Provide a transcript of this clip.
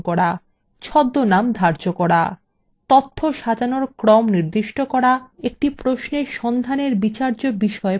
এবং ছদ্মনাম ধার্য করা